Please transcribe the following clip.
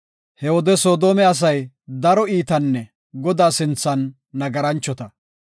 He wode Soodome asay daro iitanne Godaa sinthan nagaranchota.